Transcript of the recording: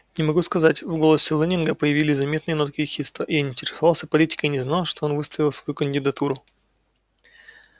не могу сказать в голосе лэннинга появились заметные нотки ехидства я не интересовался политикой и не знал что он выставил свою кандидатуру